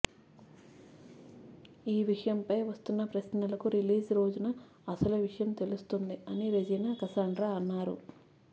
ఈ విషయంపై వస్తున్న ప్రశ్నలకు రిలీజ్ రోజున అసలు విషయం తెలుస్తుంది అని రెజీనా కసండ్రా అన్నారు